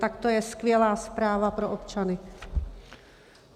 Tak to je skvělá zpráva pro občany.